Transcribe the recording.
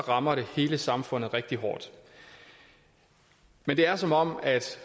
rammer det hele samfundet rigtig hårdt men det er som om